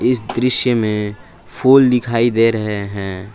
इस दृश्य में फूल दिखाई दे रहे हैं।